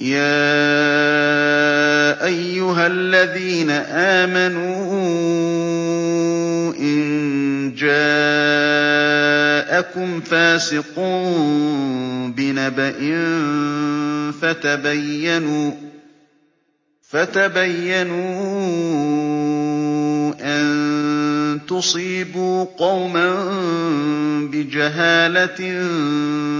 يَا أَيُّهَا الَّذِينَ آمَنُوا إِن جَاءَكُمْ فَاسِقٌ بِنَبَإٍ فَتَبَيَّنُوا أَن تُصِيبُوا قَوْمًا بِجَهَالَةٍ